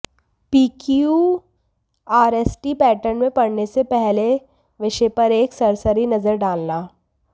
पीक्ूयआरएसटी pattern में पढ़ने से पहले विषय पर एक सरसरी नजर डालना